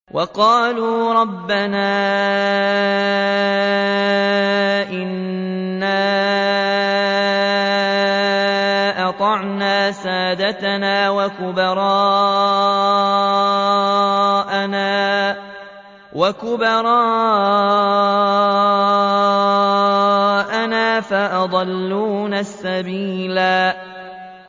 وَقَالُوا رَبَّنَا إِنَّا أَطَعْنَا سَادَتَنَا وَكُبَرَاءَنَا فَأَضَلُّونَا السَّبِيلَا